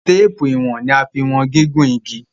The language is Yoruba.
Téèpù ìwọ̀n ní a fín wọ̀n gígùn ìgi.